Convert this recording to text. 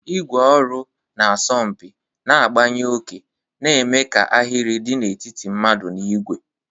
ígwè ọrụ na-asọ mpi, na-agbanye oke, na-eme ka ahịrị dị n'etiti mmadụ na igwe.